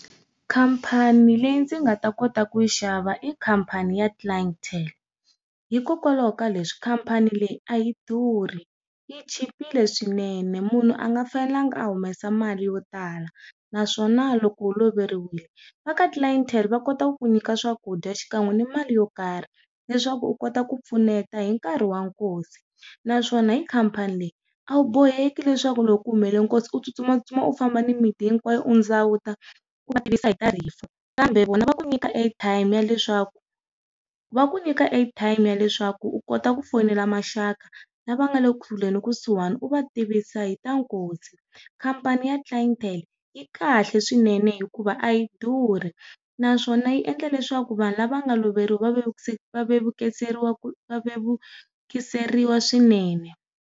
Khampani leyi ndzi nga ta kota ku yi xava i khampani ya Clientele. Hikokwalaho ka leswi, khampani leyi a yi durhi yi chipile swinene munhu a nga fanelangi a humesa mali yo tala naswona loko u loveriwile, va ka Clientele va kota ku ku nyika swakudya xikan'we ni mali yo karhi, leswaku u kota ku pfuneta hi nkarhi wa nkosi. Naswona hi khampani leyi, a wu boheki leswaku loko ku humelele nkosi u tsutsuma u famba ni miti hinkwayo u ndzawuta ku va tivisa hi ta rifu. Kambe vona va ku nyika air time ya leswaku, va ku nyika air time ya leswaku u kota ku fonela maxaka lava nga le kule ni kusuhani u va tivisa hi ta nkosi. Khampani ya Clientele yi kahle swinene hikuva a yi durhi naswona yi endla leswaku vanhu lava nga lovoriwa va va va vukiseriwa swinene.